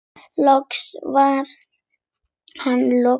Loks var henni lokið.